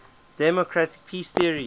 democratic peace theory